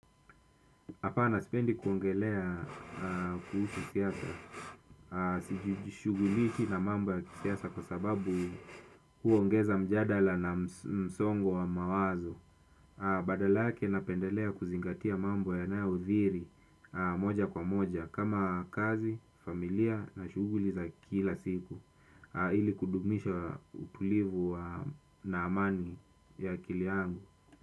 Hapana sipendi kuongelea kuhusu siasa, sijishughulishi na mambo ya kisiasa kwa sababu huongeza mjadala na msongo wa mawazo, badala lake napendelea kuzingatia mambo yanayothiri moja kwa moja kama kazi, familia na shughuli za kila siku, ili kudumisha utulivu na amani ya akili yangu.